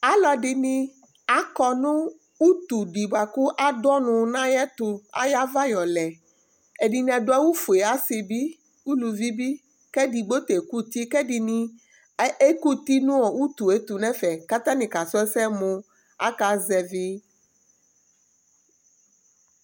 Alʋɛdìní akɔ nʋ ʋtu di bʋakʋ adu ɔnʋ nʋ ayʋɛtu, ayʋ ava yɔ lɛ Ɛdiní adu awu fʋe Asi bi, alʋvi bi kʋ ɛdigbo ta ɛkʋti kʋ ɛdiní ɛkʋti nʋ ʋtu ɛtu nʋ ɛfɛ kʋ atani kasu ɛsɛ mʋ aka zɛvi